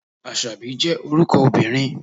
Àṣàbí jẹ́ orúkọ obìnrin.